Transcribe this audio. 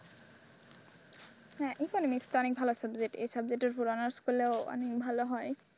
হ্যাঁ economics অনেক ভালো subject এই subject এর উপর honours করলে অনেক ভালো হয়।